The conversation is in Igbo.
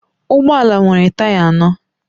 Ụgbọ ala nwere taya anọ